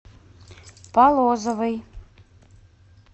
полозовой